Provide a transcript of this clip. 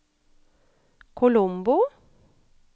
Colombo